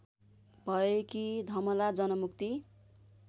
भएकी धमला जनमुक्ति